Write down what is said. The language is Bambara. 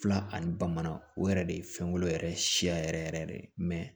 Fila ani bamanan o yɛrɛ de ye fɛnko yɛrɛ siya yɛrɛ yɛrɛ